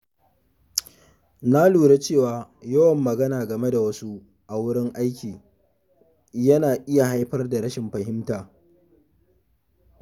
Na lura cewa yawan magana game da wasu a wurin aiki yana iya haifar da rashin fahimta.